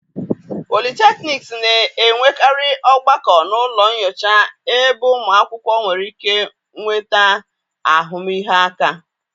polytechnics na-enwekarị ogbako na ụlọ nyocha ebe ụmụ akwụkwọ nwere ike nweta ahụmịhe aka.